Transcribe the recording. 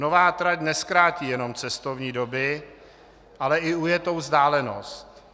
Nová trať nezkrátí jenom cestovní doby, ale i ujetou vzdálenost.